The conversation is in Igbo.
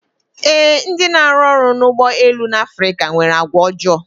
Ee, ndị na-arụ ọrụ n'ụgbọ elu no n'Afrika nwere àgwàọjọọ.